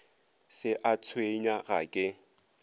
se a tshwenya ga ke